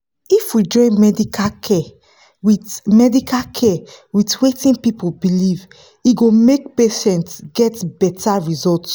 if we fit join medical care with medical care with wetin people believe e go make patients get better result.